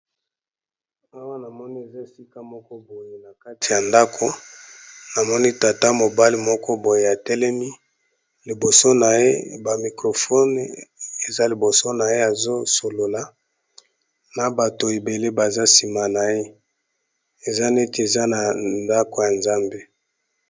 Awa na moni eza esika moko boye na kati ya ndako na moni tata mobali moko boye atelemi liboso na ye ba microfone eza liboso na ye azo solola na bato ebele baza nsima na ye eza neti eza na ndako ya nzambe.